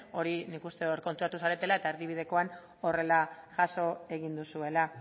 hori nik uste hor konturatu zaretela eta erdibidekoan horrela jaso egin duzuela